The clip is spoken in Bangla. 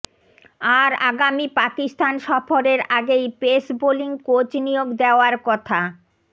আর আগামী পাকিস্তান সফরের আগেই পেস বোলিং কোচ নিয়োগ দেওয়ার কথা